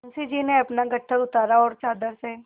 मुंशी जी ने अपना गट्ठर उतारा और चादर से